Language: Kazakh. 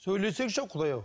сөйлесеңші құдай ау